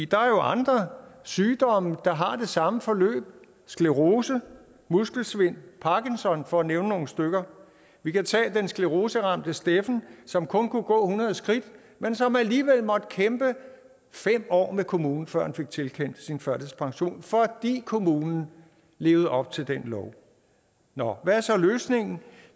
der er jo andre sygdomme der har det samme forløb sclerose muskelsvind parkinsons sygdom for at nævne nogle stykker vi kan tage den scleroseramte steffen som kun kunne gå hundrede skridt men som alligevel måtte kæmpe fem år med kommunen før han fik tilkendt sin førtidspension fordi kommunen levede op til den lov nå hvad er så løsningen